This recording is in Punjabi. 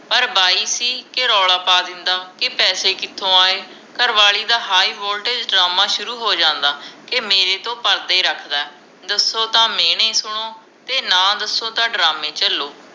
ਪਰ ਬਾਈ ਸੀ ਕੇ ਰੌਲਾ ਪਾ ਦਿੰਦਾ ਕੇ ਪੈਸੇ ਕਿਥੋਂ ਆਏ ਘਰ ਵਾਲੀ ਦਾ ਹਾਈ ਵੋਲਟੇਜ ਡਰਾਮਾ ਸ਼ੁਰੂ ਹੋ ਜਾਂਦਾ ਕੇ ਮੇਰੇ ਤੋਂ ਪਰਦੇ ਰੱਖਦਾ ਹੈ ਦਸੋ ਤਾ ਮਿਹਣੇ ਸੁਣੋ ਤੇ ਨਾ ਦਸੋ ਤਾਂ ਡਰਾਮੇ ਝਲੋ